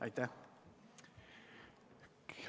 Aitäh!